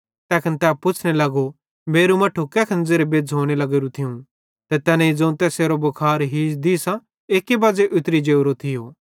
तैखन तै पुच्छ़ने लगो मेरू मट्ठू कैखन ज़ेरे बेज़्झ़ोने लग्गोरू थियूं ते तैनेईं ज़ोवं तैसेरो भुखार हीज दीसां एक्की बज़े उतरी जोरो थियो